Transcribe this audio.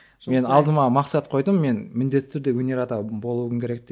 мен алдыма мақсат қойдым мен міндетті түрде өнер адамы болуым керек деп